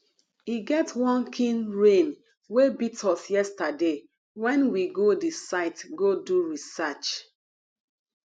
e get wan kin rain wey beat us yesterday wen we go the site go do research